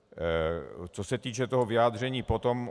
Co se týče toho vyjádření potom.